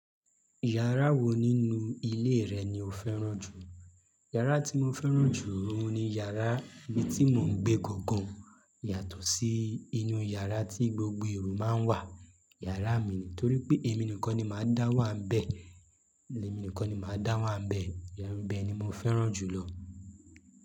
Yàrá wo nínú ilé rẹ̀ ni o fẹ́ràn jù? Yàrá tí mo fẹ́ràn jù ohun ni yàrá ibi tí mò ń gbé gangan yàtọ̀ sí inú yàrá tí gbogbo èrò máa ń wà. Yàrá mi ní torí pé èmi nìkan ni màá dá wà n bẹ́ẹ̀, èmi nìkan ni màá dá wà n bẹ́ẹ̀. Yàrá mi ibẹ́ẹ̀ ni mo fẹ́ràn jù lọ.